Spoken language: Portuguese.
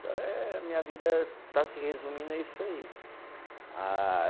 Então eh eh, minha vida está se resumindo a isso aí, ah